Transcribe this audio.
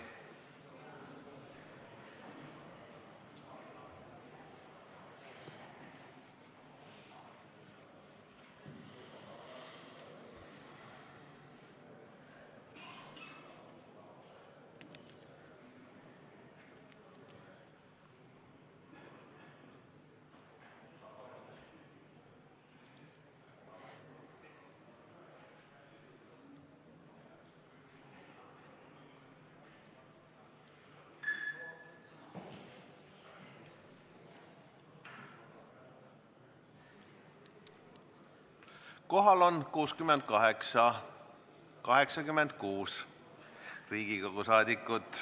Kohaloleku kontroll Kohal on 86 Riigikogu rahvasaadikut.